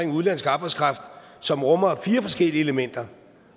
udenlandsk arbejdskraft som rummer fire forskellige elementer